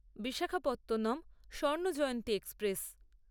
Visakhapatnam Swarnajayanti express